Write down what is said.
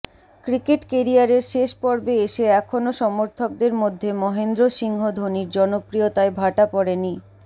cricket কেরিয়ারের শেষ পর্বে এসে এখনও সমর্থকদের মধ্যে মহেন্দ্র সিংহ ধোনির জনপ্রিয়তায় ভাটা পড়েনি